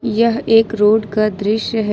यह एक रोड का दृश्य है।